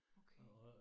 Okay